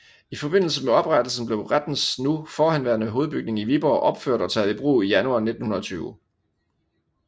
I forbindelse med oprettelsen blev rettens nu forhenværende hovedbygning i Viborg opført og taget i brug i januar 1920